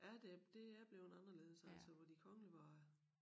Ja det det er blevet anderledes altså hvor de kongelige var